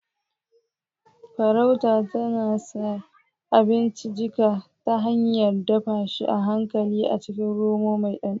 Farauta tana sa abinci jika ta hanyar dafa shi a hankali a cikin romo mai ɗanɗano